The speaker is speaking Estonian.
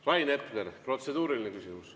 Rain Epler, protseduuriline küsimus.